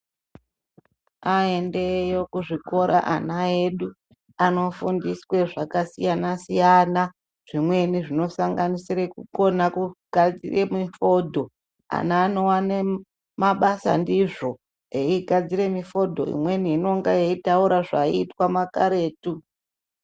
Aende yo kuzvikora ana edu anofundiswa zvakasiyana siyana. Zvimweni zvinosanganisira kukona kugadzira mifodho. Ana anowana mabasa ndizvo eigadzira mifodho imweni inenge yeitaura zvaiitwa makaretu.